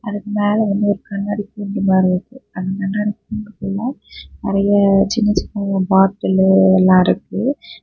அதுக்கு மேலவந்து ஒரு கண்ணாடி கூண்டு மாதிரி இருக்கு. அந்த கண்ணாடி கூண்டுக்குள்ள நறைய சின்ன சின்ன பாட்டிலு எல்லா இருக்கு.